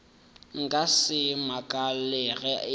nka se makale ge e